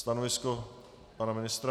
Stanovisko pana ministra?